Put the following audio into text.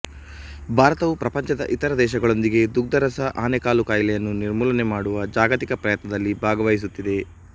ಭಾರತವು ಪ್ರಪಂಚದ ಇತರ ದೇಶಗಳೊಂದಿಗೆ ದುಗ್ಧರಸ ಆನೆಕಾಲು ಕಾಯಿಲೆಯನ್ನು ನಿರ್ಮೂಲನೆ ಮಾಡುವ ಜಾಗತಿಕ ಪ್ರಯತ್ನದಲ್ಲಿ ಭಾಗವಹಿಸುತ್ತಿದೆ